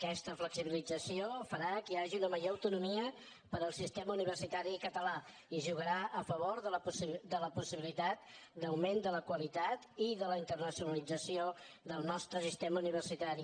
aquesta flexibilització farà que hi hagi una major autonomia per al sistema universitari català i jugarà a favor de la possibilitat d’augment de la qualitat i de la internacionalització del nostre sistema universitari